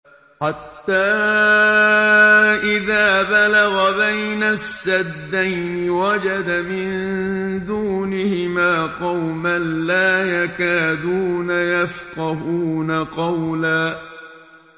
حَتَّىٰ إِذَا بَلَغَ بَيْنَ السَّدَّيْنِ وَجَدَ مِن دُونِهِمَا قَوْمًا لَّا يَكَادُونَ يَفْقَهُونَ قَوْلًا